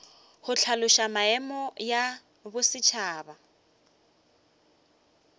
go hlaloša maemo ya bosetšhaba